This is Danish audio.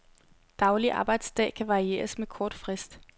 Daglig arbejdsdag kan varieres med kort frist.